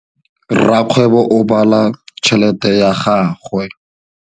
Rakgwêbô o bala tšheletê ya gagwe.